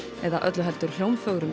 eða öllu heldur